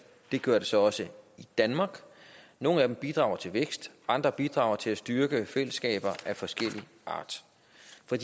det gør det så også i danmark nogle af dem bidrager til vækst og andre bidrager til at styrke fællesskaber af forskellig art